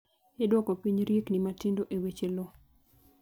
Idwoko piny riekni matindo e weche lowo